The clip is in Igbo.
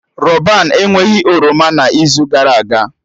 Rọban enweghị oroma n'izu gara aga